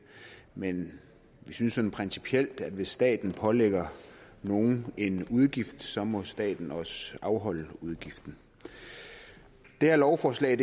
men vi synes sådan principielt at hvis staten pålægger nogen en udgift så må staten også afholde udgiften det her lovforslag